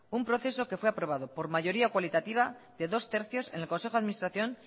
un proceso que fue aprobado por mayoría cualitativa de dos tercios en el consejo de administración